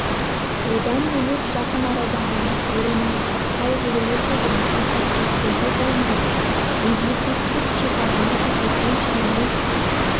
одан бөлек жақын арада ғана орын алған қайғылы оқиғаны атап кетпеуге болмайды мемлекеттік шекараны күзету және